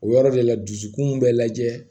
O yɔrɔ de la dusukun bɛ lajɛ